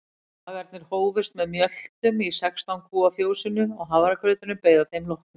Dagarnir hófust með mjöltum í sextán kúa fjósinu og hafragrauturinn beið að þeim loknum.